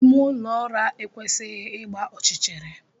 Ime ụlọ ụra ekwesịghị ịgba ọchịchịrị.